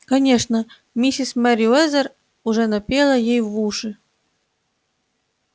конечно миссис мерриуэзер уже напела ей в уши